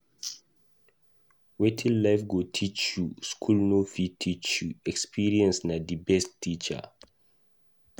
Wetin life go teach you, school no fit teach you, experience na di best teacher